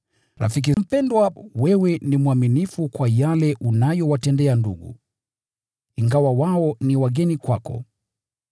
Rafiki mpendwa, wewe ni mwaminifu kwa yale unayowatendea ndugu, ingawa wao ni wageni kwako.